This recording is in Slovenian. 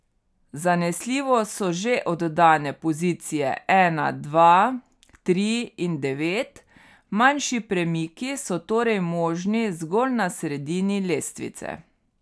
Zanesljivo so že oddane pozicije ena, dva, tri in devet, manjši premiki so torej možni zgolj na sredini lestvice.